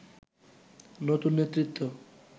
নতুন নেতৃত্ব